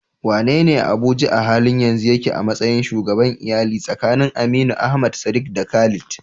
Wanene a Abuja a halin yanzu yake a matsayin shugaban iyali tsakanin Aminu, Ahmad, Sadiq, da Khalid?